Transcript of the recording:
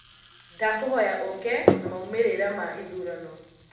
Nĩndakũhoya ũũke na maumĩrira ma ithurano.